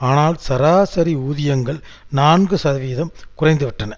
ஆனால் சராசரி ஊதியங்கள் நான்கு சதவீதம் குறைந்து விட்டன